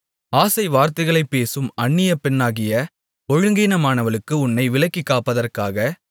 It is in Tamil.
ஆசைவார்த்தைகளைப் பேசும் அந்நியப் பெண்ணாகிய ஒழுங்கீனமானவளுக்கு உன்னை விலக்கிக் காப்பதற்காக